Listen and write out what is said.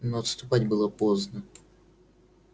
но отступать было поздно